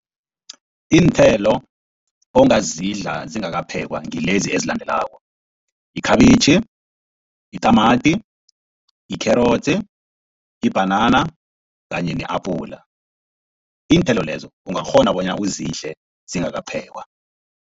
Iinthelo ongazidla zingakaphekwa ngilezi ezilandelako, yikhabitjhi, yitamati, yikherotsi, ibhanana kanye ne-apula. Iinthelo lezo ungakghona bona uzidle zingakaphekwa.